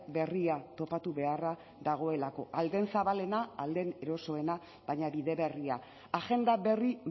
berria topatu beharra dagoelako ahal den zabalena ahal den erosoena baina bide berria agenda berri